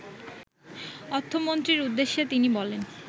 অর্থমন্ত্রীর উদ্দেশে তিনি বলেন